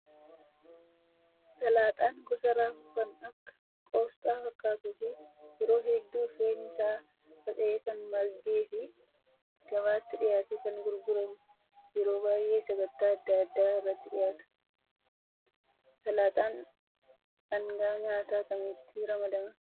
Salaaxaan gosa raafuu kan akka qosxaa fakkaatuu fi yeroo hedduu firiin isaa faca'ee kan margee fi gabaatti dhiyaatee kan gurguramu yeroo baay'ee sagantaa adda addaa irratti dhiyaata. Salaaxaan dhangaa nyaataa kamitti ramadama?